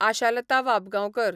Ashalata Wabgaonkar